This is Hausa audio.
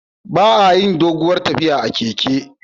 Ba a yin doguwar tafiya a keke